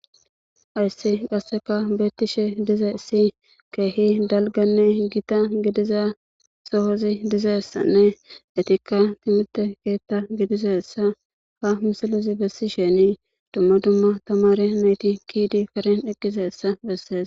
ayssi qasseka beettishe dize si keehi dalganne gita gidiza sohozi dizessanne etikka timite keetta gidizessa ha misalozi bessi sheni dumma dumma tamare nayti kiidi karen eqqizeessa bessees